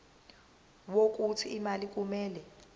wokuthi imali kumele